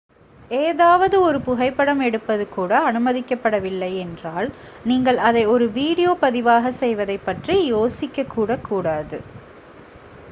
ஏதாவது ஒரு புகைப்படம் எடுப்பது கூட அனுமதிக்கப்படவில்லை என்றால் நீங்கள் அதை ஒரு வீடியோ பதிவாக செய்வதைப் பற்றி யோசிக்கக்கூட கூடாது